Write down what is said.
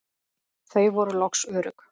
Þau voru loks örugg.